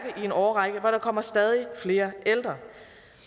i en årrække hvor der kommer stadigt flere ældre